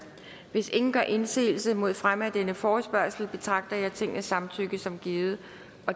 hvis ingen gør indsigelse mod fremme af denne forespørgsel betragter jeg tingets samtykke som givet